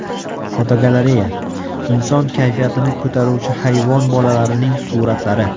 Fotogalereya: Inson kayfiyatini ko‘taruvchi hayvon bolalarining suratlari.